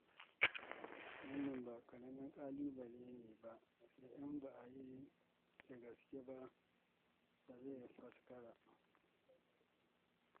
Wannan ba ƙaramin ƙalubale ne ba da in ba a yi da gaske ba zai faskara.